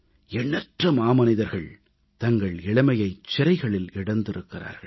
எண்ணற்ற மாமனிதர்கள் தங்கள் இளமையைச் சிறைகளில் இழந்திருக்கிறார்கள்